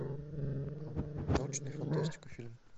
научная фантастика фильм